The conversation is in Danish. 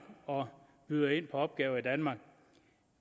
og byder ind på opgaver i danmark